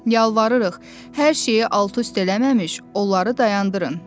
Yalvarırıq, hər şeyi alt-üst eləməmiş, onları dayandırın.